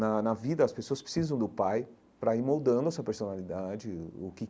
Na na vida, as pessoas precisam do pai para ir moldando a sua personalidade, o que.